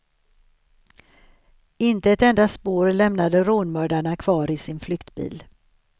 Inte ett enda spår lämnade rånmördarna kvar i sin flyktbil.